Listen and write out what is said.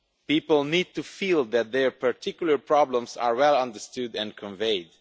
People need to feel that their particular problems are well understood and conveyed.